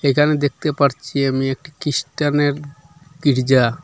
এখানে দেখতে পারছি আমি একটি কিস্টানের গীর্জা।